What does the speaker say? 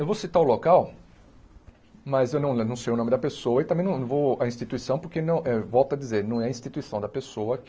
Eu vou citar o local, mas eu não sei o nome da pessoa e também não vou a instituição porque não, volta a dizer, não é a instituição da pessoa que